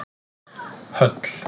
Höll